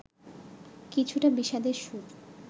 কিছুটা বিষাদের সুর